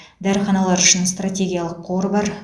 дәріханалар үшін стратегиялық қор бар